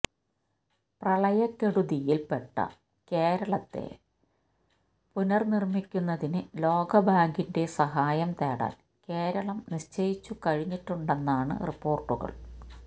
പ്രളയക്കെടുതിയിൽ പെട്ട കേരളത്തെ പുനർനിർമിക്കുന്നതിന് ലോകബാങ്കിന്റെ സഹായം തേടാൻ കേരളം നിശ്ചയിച്ചു കഴിഞ്ഞിട്ടുണ്ടെന്നാണ് റിപ്പോർട്ടുകൾ